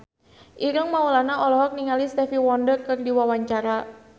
Ireng Maulana olohok ningali Stevie Wonder keur diwawancara